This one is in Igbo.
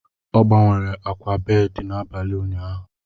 Ọ gbanwere akwa bedị n'abalị ụnyaahụ.